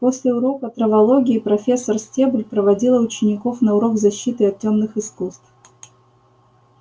после урока травологии профессор стебль проводила учеников на урок защиты от тёмных искусств